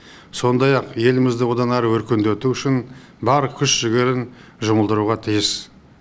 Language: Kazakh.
сондай ақ елімізді одан әрі өркендету үшін бар күш жігерін жұмылдыруға тиіс